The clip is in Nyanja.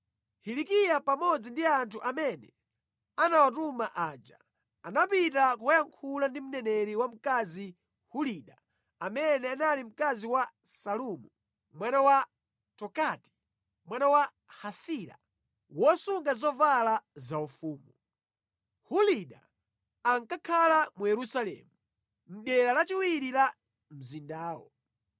Hilikiya pamodzi ndi anthu amene anawatuma aja, anapita kukayankhula ndi mneneri wamkazi Hulida, amene anali mkazi wa Salumu mwana wa Tokati, mwana wa Hasira, wosunga zovala zaufumu. Hulida ankakhala mu Yerusalemu, mʼdera lachiwiri la mzindawo.